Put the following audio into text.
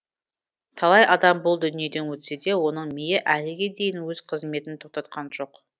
талай адам бұл дүниеден өтсе де оның миы әліге дейін өз қызметін тоқтатқан жоқ